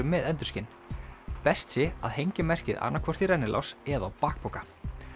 með endurskin best sé að hengja merkið annað hvort í rennilás eða á bakpoka